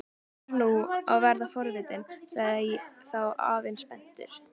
Ég fer nú að verða forvitinn sagði þá afinn spenntur.